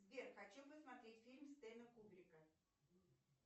сбер хочу посмотреть фильм стэнли кубрика